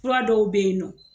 Fura dɔw bɛ ye nɔ.